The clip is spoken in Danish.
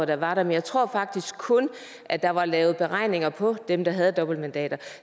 det var der men jeg tror faktisk kun at der var lavet beregninger på dem der havde dobbeltmandater